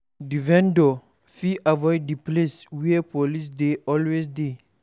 Di vendor fit avoid di places where police dey always de